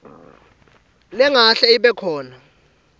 lengahle ibe khona